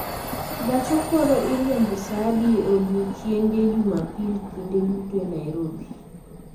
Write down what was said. Gach okolo iriembo saa adi e odiechienge jumapil kinde duto e Nairobi